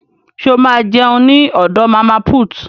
Ṣo ma jẹun ní ọ̀dọ̀ màmá put?